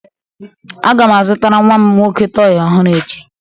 Aga m azutara nwa m nwoke tọị ọhụrụ echi